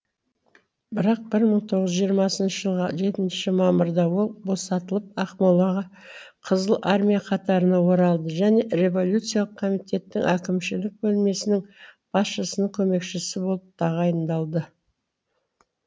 бірақ бір мың тоғыз жүз жиырмасыншы жылғы жетінші мамырда ол босатылып ақмолаға қызыл армия қатарына оралды және революциялық комитеттің әкімшілік бөлімесінің басшысының көмекшісі болып тағайындалды